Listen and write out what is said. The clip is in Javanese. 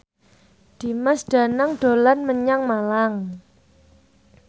Dimas Danang dolan menyang Malang